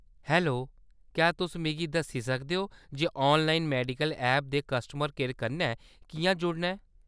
Hello, क्या तुस मिगी दस्सी सकदे ओ जे ऑनलाइन मेडिसिन ऐप दे कस्टमर केयर कन्नै किʼयां जुड़ना ऐ ?